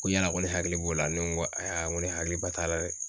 Ko yala ko ne hakili b'o la ne ko ne hakiliba t'a la dɛ